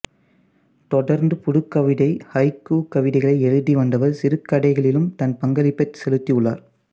தொடர்ந்து புதுக்கவிதை ஹைக்கூ கவிதைகளை எழுதிவந்தவர் சிறுகதைகளிலும் தன் பங்களிப்பை செலுத்தி உள்ளார்